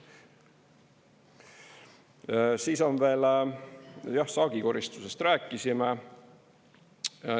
Jah, saagi koristusest rääkisime.